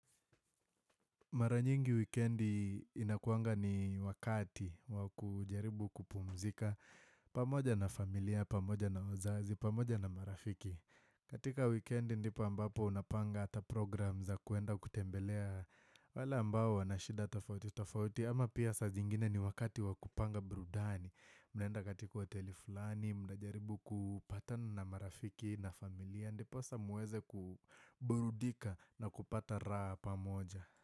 Maranyingi wikendi inakuwanga ni wakati wakujaribu kupumzika pamoja na familia, pamoja na wazazi, pamoja na marafiki. Katika wikendi ndipo ambapo unapanga hata programu za kuenda kutembelea wale ambao wanashida tofauti tofauti ama pia saa zingine ni wakati wa kupanga burudani. Mnaenda katika hoteli fulani mnajaribu kupatana na marafiki na familia ndiposa muweze kuburudika na kupata raha pamoja.